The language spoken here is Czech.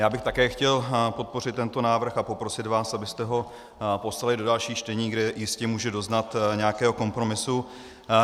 Já bych také chtěl podpořit tento návrh a poprosit vás, abyste ho poslali do dalších čtení, kde jistě může doznat nějakého kompromisu.